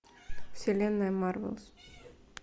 вселенная марвел